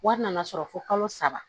Wari nana sɔrɔ fo kalo saba